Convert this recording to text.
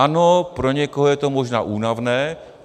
Ano, pro někoho je to možná únavné.